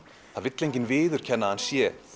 það vill enginn viðurkenna að hann sé